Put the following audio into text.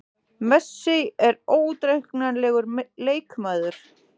Messi er óútreiknanlegur leikmaður.